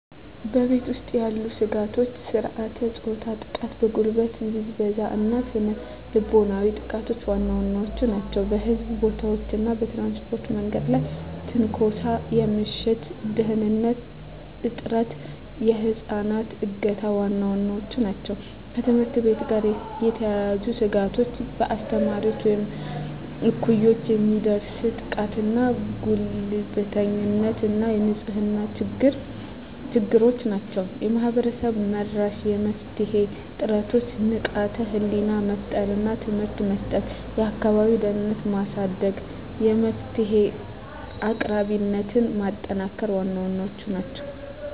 በቤት ውስጥ ያሉ ስጋቶች የሥርዓተ-ፆታ ጥቃ፣ የጉልበት ብዝበዛ እና ስነ ልቦናዊ ጥቃቶች ዋና ዋናዎቹ ናቸው። በሕዝብ ቦታዎች እና በትራንስፖርት የመንገድ ላይ ትንኮሳ፣ የምሽት ደህንንነት እጥረት፣ የህፃናት እገታ ዋና ዋናዎቹ ናቸው። ከትምህርት ቤት ጋር የተያያዙ ስጋቶች በአስተማሪዎች ወይም እኩዮች የሚደርስ ጥቃትና ጉልበተኝነት እና የንጽህና ችግሮች ናቸው። ማህበረሰብ-መራሽ የመፍትሄ ጥረቶች ንቃተ ህሊና መፍጠር እና ትምህርት መስጠት፣ የአካባቢ ደህንነትን ማሳደግ፣ የመፍትሄ አቅራቢነትን ማጠናከር ዋና ዋናዎቹ ናቸው።